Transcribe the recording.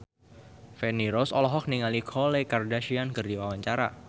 Feni Rose olohok ningali Khloe Kardashian keur diwawancara